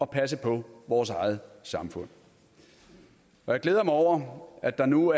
passe på vores eget samfund jeg glæder mig over at der nu